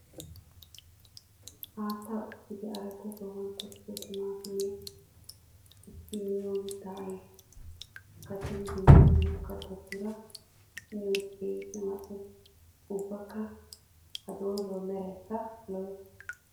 Haatta ushshiddi aradda sohuwan tokkiddo timattimiya gididda miyo mitta ayfiya kattiddi dumma dumma katattura miyoode keehippe mali'ees. Ubbakka ha doozawu meraykka lo'ees.